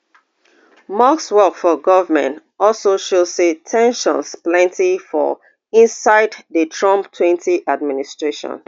musk work for goment also show say ten sions plenty for inside di trump twenty administration